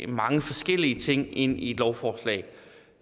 mange forskellige ting ind i et lovforslag